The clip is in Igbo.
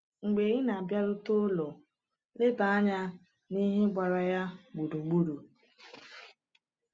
Mgbe ị na-abịarute ụlọ, leba anya n’ihe gbara ya gburugburu.